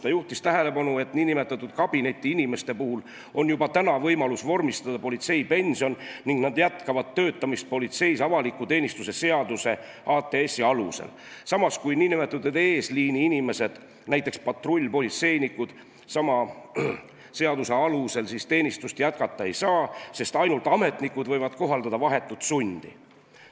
Ta juhtis tähelepanu sellele, et nn kabinetiinimeste puhul on juba praegu võimalus vormistada politseipension ning nad jätkavad töötamist politseis avaliku teenistuse seaduse alusel, samas kui nn eesliini-inimesed, näiteks patrullpolitseinikud, sama seaduse alusel teenistust jätkata ei saa, sest ainult ametnikud võivad kohaldada vahetut sundi.